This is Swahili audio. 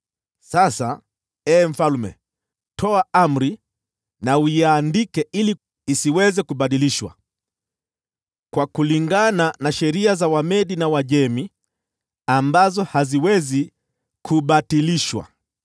Sasa, ee mfalme, toa amri na uiandike ili isiweze kubadilishwa: kulingana na sheria za Wamedi na Waajemi, ambazo haziwezi kubatilishwa.”